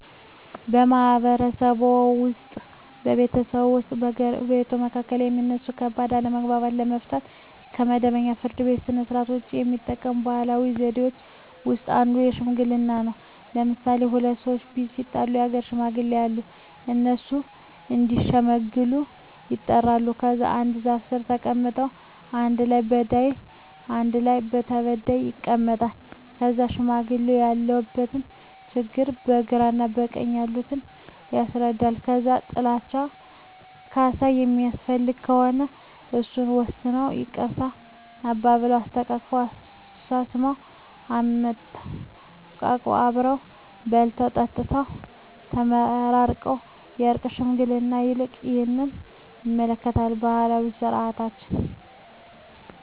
በማህበረሰብዎ ውስጥ በቤተሰቦች ወይም በጎረቤቶች መካከል የሚነሱ ከባድ አለመግባባቶችን ለመፍታት (ከመደበኛው የፍርድ ቤት ሥርዓት ውጪ) የሚጠቀሙባቸው ባህላዊ ዘዴዎች ውስጥ አንዱ ሽምግልና ነው። ለምሣሌ፦ ሁለት ሠዎች ቢጣሉ የአገር ሽማግሌዎች አሉ። እነሱ እዲሸመግሉ ይጠሩና ከዛ አንድ ዛፍ ስር ተቀምጠው በአንድ ጎን በዳይ በአንድ ጎን ተበዳይ ይቀመጣሉ። ከዛ ለሽማግሌዎች ያለውን ችግር በግራ በቀኝ ያሉት ያስረዳሉ። ከዛ ጥላቸው ካሣ የሚያስፈልገው ከሆነ እሱን ወስነው ይቅርታ አባብለው። አስታርቀው፤ አሳስመው፤ አሰተቃቅፈው አብረው በልተው ጠጥተው ተመራርቀው በእርቅ ሽምግልናው ያልቃ። ይህንን ይመስላል ባህላዊ ስርዓታችን።